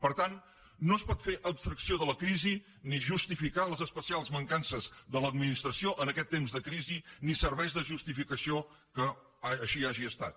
per tant no es pot fer abstracció de la crisi ni justificar les especials mancances de l’administració en aquest temps de crisi ni serveix de justificació que així hagi estat